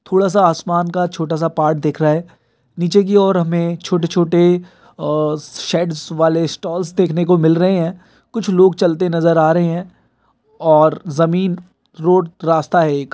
थोड़ा सा आसमान का छोटा सा पार्ट दिख रहा हैं। निचे की औऱ हमें छोटे छोटे अ शेड्स वाले स्टालस देखने को मिल रहे हैं। कुछ लोग चलते नजर आ रहे हैं। और ज़मीन रोड रास्ता हैं एक।